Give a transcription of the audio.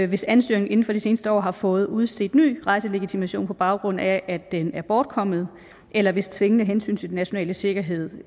hvis ansøgeren inden for det seneste år har fået udstedt ny rejselegitimation på baggrund af at den er bortkommet eller hvis tvingende hensyn til den nationale sikkerhed